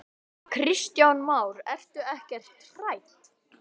Kristján Már: Ertu ekkert hrædd?